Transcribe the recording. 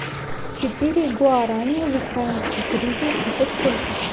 четыре гуарани в украинских гривен это сколько